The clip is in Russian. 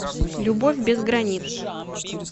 любовь без границ